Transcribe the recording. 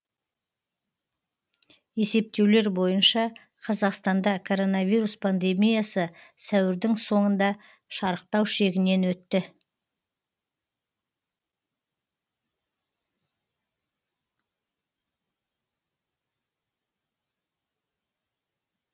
есептеулер бойынша қазақстанда коронавирус пандемиясы сәуірдің соңында шарықтау шегінен өтті